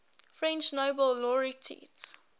french nobel laureates